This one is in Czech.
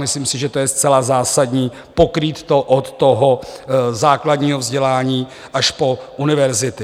Myslím si, že to je zcela zásadní, pokrýt to od toho základního vzdělání až po univerzity.